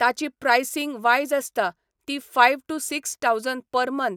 ताची pricing wise आसता ती five to six thousand per month